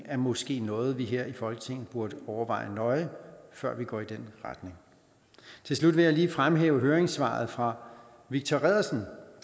er måske noget vi her i folketinget burde overveje nøje før vi går i den retning til slut vil jeg lige fremhæve høringssvaret fra viktor reddersen